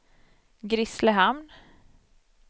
Grisslehamn